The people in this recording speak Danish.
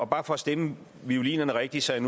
bare for at stemme violinen rigtigt så jeg